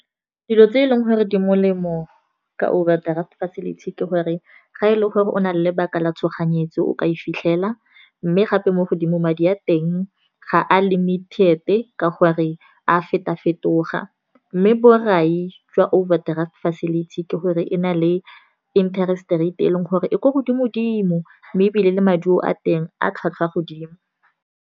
Dilo tse eleng gore di molemo ka overdraft facility, ke gore ga e le gore o na le lebaka la tshoganyetso, o ka e fitlhela. Mme gape mo godimo madi a teng ga a limited ka go re a feto-fetoga, mme borai jwa overdraft facility ke gore e na le interest rate e leng gore e kwa godimo dimo. Mme ebile le maduo a teng a tlhwatlhwa godimo.